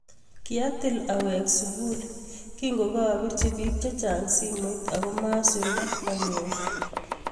kiatil aweg sugul ingokarapirchi piik chechang simoit agomasulde anyor